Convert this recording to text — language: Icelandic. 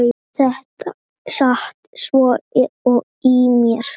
Þetta sat svo í mér.